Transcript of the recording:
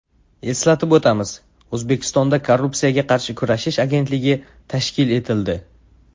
Eslatib o‘tamiz, O‘zbekistonda Korrupsiyaga qarshi kurashish agentligi tashkil etildi .